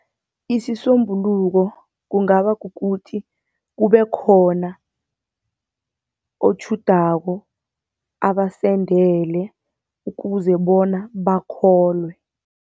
Isisombululo kungaba kukuthi kube khona otjhudako, abasendele ukuze bona bakholwe.